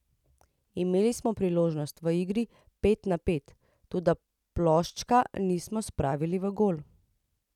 Imeli smo priložnosti v igri pet na pet, toda ploščka nismo spravili v gol.